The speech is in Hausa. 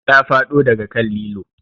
Ta faɗo daga kan lilo